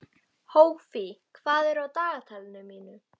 Hófí, hvað er á dagatalinu mínu í dag?